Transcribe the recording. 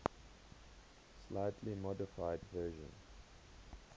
slightly modified version